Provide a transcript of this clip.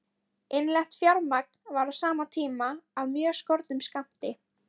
Innlent fjármagn var á sama tíma af mjög skornum skammti.